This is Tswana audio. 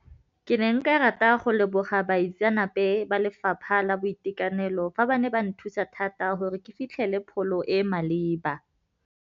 Ke ne nka rata go leboga baitseanape ba lefapha la boitekanelo fa ba ne ba nthusa thata gore ke fitlhele pholo e e maleba.